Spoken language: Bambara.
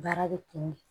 Baara bɛ kun